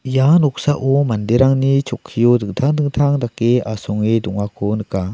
ia noksao manderangni chokkio dingtang dingtang dake asonge dongako nika.